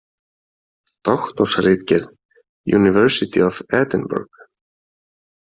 Doktorsritgerð, University of Edinburg.